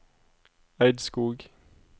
Eidskog